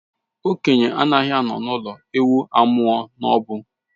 Okenye anaghị anọ n'ụlọ ewu amụọ n'ọgbụ